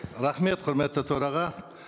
рахмет құрметті төраға